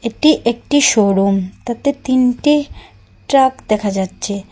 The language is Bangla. এটি একটি শোরুম তাতে তিনটি ট্রাক দেখা যাচ্চে।